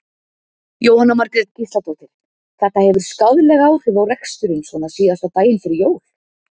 Jóhanna Margrét Gísladóttir: Þetta hefur skaðleg áhrif á reksturinn svona síðasta daginn fyrir jól?